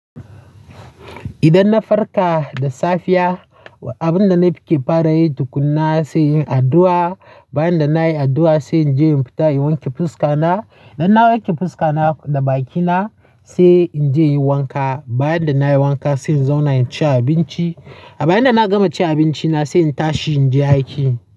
Idan na farka da safiya, abun da nafi ke fara yi tukuna sai yin addu'a. Bayan da nayi addu'a sai in je in fita in wanke fuska na. IDldan na wanke fuska na da bakina sai in je in yi wanka. Bayan da nayi wanka sai in zauna in ci abinci. A bayan da na gama cin abinci na sai in tashi in je aiki.